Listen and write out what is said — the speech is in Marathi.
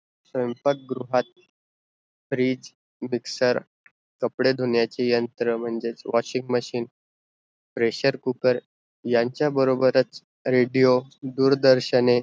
स्वयंपाक गृहातील fridge, mixer, कपडे धुण्याचे यंत्र म्हणजेच washing machine pressure cooker यांचा बरोबरच redio, दूरदर्शने